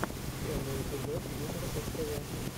первый эпизод юмор ств